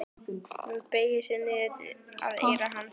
Hún beygir sig niður að eyra hans.